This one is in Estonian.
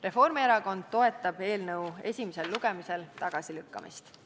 Reformierakond toetab eelnõu esimesel lugemisel tagasilükkamist.